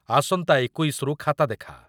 ଆସନ୍ତା ଏକୋଇଶି ରୁ ଖାତା ଦେଖା ।